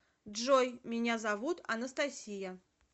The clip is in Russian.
джой меня зовут анастасия